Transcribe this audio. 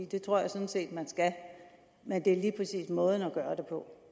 det tror jeg sådan set at man skal men det er lige præcis måden man gør det på